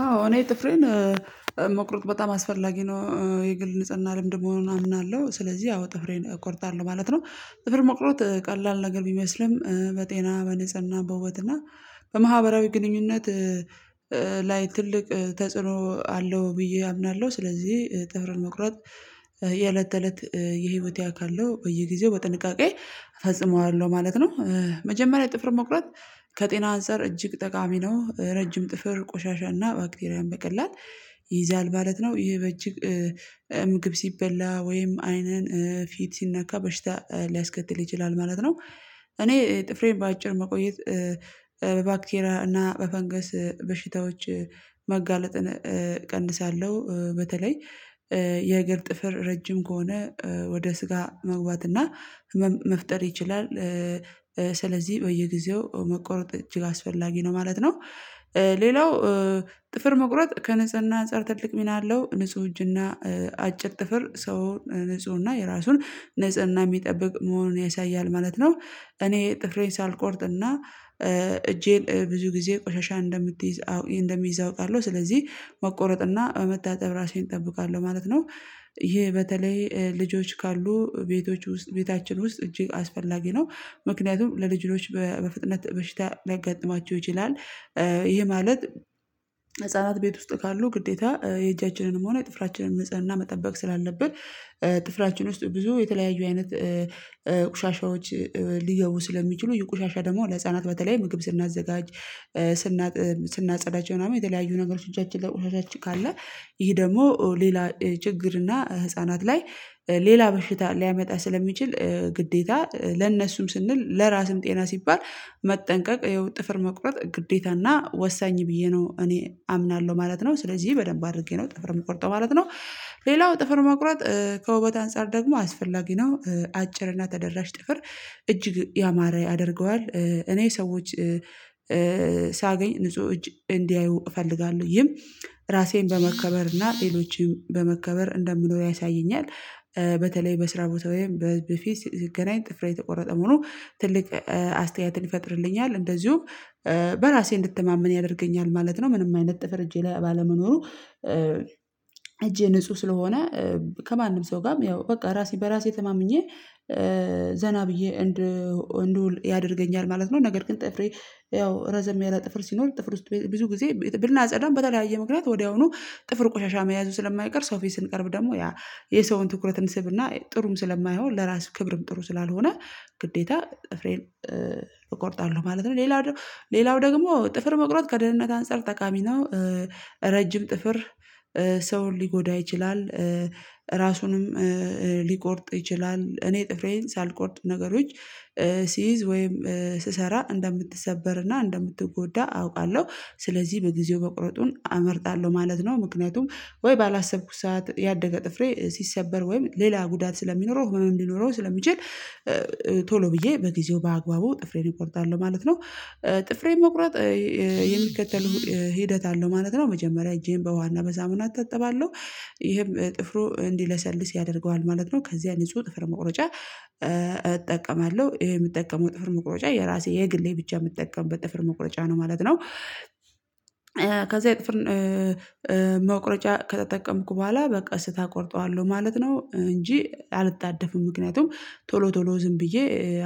አዎ እኔ ጥፍሬን መቁረጥ በጣም አስፈላጊ ነው የግል ንጽህና ልምድ መሆኑን አምናለሁ ስለዚህ አዎ ጥፍሬን እቆርጣለሁ ማለት ነው። ጥፍር መቁረጥ ቀላል ነገር ቢመስልም በጤና በንጽህና በውበት እና በማህበራዊ ግንኙነት ላይ ትልቅ ተጽዕኖ አለው ብዬ አምናለሁ ስለዚህ ጥፍር መቁረጥ የእለት ተእለት የህይወቴ አካል ነው በየጊዜው በጥንቃቄ እፈጽመዋለሁ ማለት ነው። መጀመሪያ ጥፍር መቁረጥ ከጤና አንፃር እጅግ ጠቃሚ ነው ረጅም ጥፍር ቆሻሻና ባክቴሪያን በቀላል ይይዛል ማለት ነው ይህ በእጅ ምግብ ሲበላ ወይም አይንን ፊት ሲነካ በሽታ ሊያስከትል ይችላል ማለት ነው። እኔ ጥፍሬን በአጭር መቆየት በባክቴሪያ እና በፈንገስ በሽታዎች መጋለጥን ቀንሳለሁ በተለይ የእግር ጥፍር ረጅም ከሆነ ወደ ስጋ መግባት እና መፍጠር ይችላል ስለዚህ በየጊዜው መቆረጥ እጅግ አስፈላጊ ነው ማለት ነው። ሌላው ጥፍር መቁረጥ ከንጽህና አጻር ትልቅ ሚና አለው ንጹህ እጅና አጭር ጥፍር ሰው ንጹህ እና የራሱን ንጽህና የሚጠብቅ መሆኑን ያሳያል ማለት ነው። እኔ ጥፍሬን ሳልቆርጥና እጄን ብዙ ጊዜ ቆሻሻ እንደምትይዝ እንደሚይዝ አውቃለሁ ስለዚህ መቆረጥና በመታጠብ ራሴን እጠብቃለሁ ማለት ነው። ይሄ በተለይ ልጆች ካሉ ቤቶች ውስጥ ቤታችን ውስጥ እጅግ አስፈላጊ ነው ምክንያቱም ለልጆች በፍጥነት በሽታ ሊያጋጥማቸው ይችላል። ይሄ ማለት ህፃናት ቤት ውስጥ ካሉ ግዴታ የእጃችንንም ሆነ የጥፍራችንን ንጽህና መጠበቅ ስላለብን ጥፍራችን ውስጥ ብዙ የተለያዩ አይነት ቆሻሻዎች ሊገቡ ስለሚችሉ ይህ ቆሻሻ ደግሞ ለህፃናት በተለይ ምግብ ስናዘጋጅ ስናጥብ ስናጸዳቸው ምናምን የተለያዩ ነገሮች እጃችን ላይ ቆሻሾች ካለ ይሄ ደግሞ ሌላ ችግር እና ህፃናት ላይ ሌላ በሽታ ሊያመጣ ስለሚችል ግዴታ ለእነሱም ስንል ለራስም ጤና ሲባል መጠንቀቅ ያው ጥፍር መቁረጥ ግዴታና ወሳኝ ብዬ ነው እኔ አምናለሁ ማለት ነው ስለዚህ በደንብ አድርጌ ነው ጥፍር የምቆርጠው ማለት ነው። ሌላው ጥፍር መቁረጥ ከውበት አንፃር ደግሞ አስፈላጊ ነው አጭር እና ተደራሽ ጥፍር እጅግ ያማረ ያደርገዋል። እኔ ሰዎች ሳገኝ ንጹህ እጅ እንዲያዩ እፈልጋለሁ ይህም ራሴን በመከበር እና ሌሎችም በመከበር እንደምኖር ያሳየኛል። በተለይ በስራ ቦታ ወይም በፊት ስገናኝ ጥፍሬ የተቆረጠ መሆኑ ትልቅ አስተያየትን ይፈጥርልኛል እንደዚሁም በራሴ እንድትማመን ያደርገኛል ማለት ነው። ምንም አይነት ጥፍር እጄ ላይ ባለመኖሩ እጄ ንጹህ ስለሆነ ከማንም ሰው ጋርም ያው በቃ ራሴ በራሴ ተማምኜ ዘና ብዬ እንድውል ያደርገኛል ማለት ነው። ነገር ግን ጥፍሬ ያው ረዘም ያለ ጥፍር ሲኖር ጥፍር ውስጥ ብዙ ጊዜ ብናጸዳም በተለያየ ምክንያት ወዲያውኑ ጥፍር ቆሻሻ መያዙ ስለማይቀር ሰው ፊት ስንቀርብ ደግሞ የሰውን ትኩረት እንስብና ጥሩም ስለማይሆን ለራስ ክብርም ጥሩ ስላልሆነ ግዴታ ጥፍሬን እቆርጣለሁ ማለት ነው። ሌላው ሌላው ደግሞ ጥፍር መቁረጥ ከደህንነት አንፃር ተቃሚ ነው። ረጅም ጥፍር ሰውን ሊጎዳ ይችላል። ራሱንም ሊቆርጥ ይችላል እኔ ጥፍሬን ሳልቆርጥ ነገሮች ሲይዝ ወይም ስሰራ እንደምትሰበርና እንደምትጎዳ አውቃለሁ ስለዚህ በጊዜው መቁረጡን አመርጣለሁ ማለት ነው። ምክንያቱም ወይ ባላሰብኩት ሰዓት ያደገ ጥፍሬ ሲሰበር ወይም ሌላ ጉዳት ስለሚኖረው ህመም ሊኖረው ስለሚችል ቶሎ ብዬ በጊዜው በአግባቡ ጥፍሬን እቆርጣለው ማለት ነው። ጥፍሬን መቁረጥ የሚከተሉ ሂደት አለው ማለት ነው መጀመሪያ እጄን በውሀና በሳሙና እታጠባለሁ ይሄም ጥፍሩ እንዲለሰልስ ያደርገዋል ማለት ነው። ከዚያ ንጹህ ጥፍር መቁረጫ እጠቀማለሁ ይሄ የምጠቀመው ጥፍር መቁረጫ የራሴ የግሌ ብቻ የምጠቀምበት ጥፍር መቁረጫ ነው ማለት ነው። ከዛ ጥፍር ከተጠቀምኩ በኋላ በቀስታ ቆርጠዋለሁ ማለት ነው። እንጂ አልጣደፍም ምክንያቱም ቶሎ ቶሎ ዝም ብዬ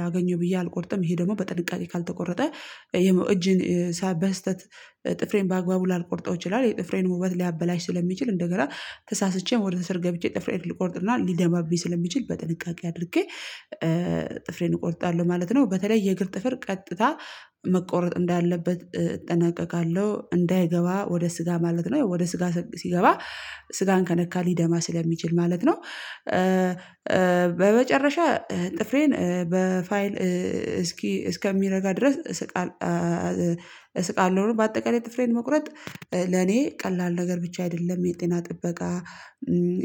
አገኘው ብዬ አልቆርጥም። ይሄ ደግሞ በጥንቃቄ ካልተቆረጠ የመው እጅን ሳ በስህተት ጥፍሬን በአግባቡ ላልቆርጠው ይችላል የጥፍሬን ውበት ሊያበላሽ ስለሚችል እንደገና ተሳስቼም ወደ ስር ገብቼ ጥፍሬን ልቆርጥና ሊደማብኝ ስለሚችል በጥንቃቄ አድርጌ ጥፍሬን እቆርጣለሁ ማለት ነው። በተለይ የእግር ጥፍር ቀጥታ መቆረጥ እንዳለበት እጠነቀቃለሁ እንዳይገባ ወደ ስጋ ማለት ነው። ወደ ስጋ ሲገባ ስጋን ከነካ ሊደማ ስለሚችል ማለት ነው። በመጨረሻ ጥፍሬን በፋይል እስኪ እስከሚረጋ ድረስ ስቃል እስቃለው ነው። በአጠቃላይ ጥፍሬን መቁረጥ ለኔ ቀላል ነገር ብቻ አይደለም የጤና ጥበቃ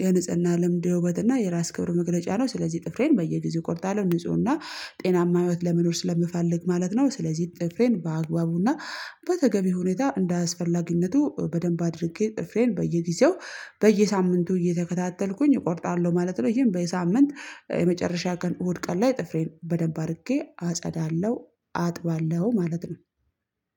የንጽህና ልምድ የውበት እና የራስ ክብር መግለጫ ነው ስለዚህ ጥፍሬን በየጊዜው እቆርጣለሁ ንጹህ እና ጤናማ ህይወት ለመኖር ስለምፈልግ ማለት ነው። ስለዚህ ጥፍሬን በአግባቡና በተገቢው ሁኔታ እንዳስፈላጊነቱ በደንብ አድርጌ ጥፍሬን በየጊዜው በየሳምንቱ እየተከታተልኩኝ እቆርጣለሁ ማለት ነው። ይሄም በየሳምንት የመጨረሻ ቀን እሁድ ቀን ላይ ጥፍሬን በደንብ አድርጌ አጸዳለሁ አጥባለሁ ማለት ነው።